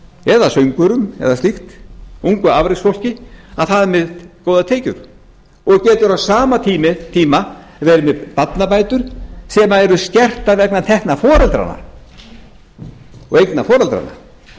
eða söngvurum eða slíkt ungu afreksfólki að það er með góðar tekjur og getur á sama tíma verið með barnabætur sem eru skertar vegna tekna foreldranna og eigna foreldranna